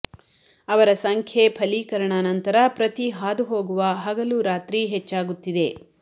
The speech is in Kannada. ಅವರ ಸಂಖ್ಯೆ ಫಲೀಕರಣ ನಂತರ ಪ್ರತಿ ಹಾದುಹೋಗುವ ಹಗಲು ರಾತ್ರಿ ಹೆಚ್ಚಾಗುತ್ತಿದೆ